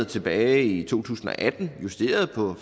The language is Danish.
tilbage i to tusind og atten justeret på